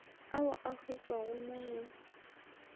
ao a hwetpwago mo go